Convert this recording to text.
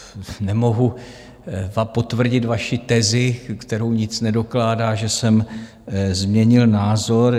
Nemohu potvrdit vaši tezi, kterou nic nedokládá, že jsem změnil názor.